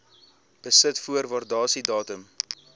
besit voor waardasiedatum